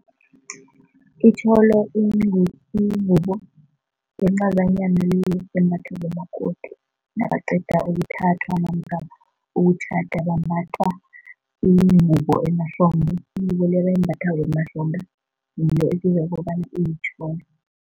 Itjholo ingubo encazananyana embathwa ngumakoti nabaqeda ukuthathwa namkha ukutjhada, bambatha ingubo emahlombe, ingubo le abayimbathako emahlombe, ngiyo esiyibiza bona iyitjholo.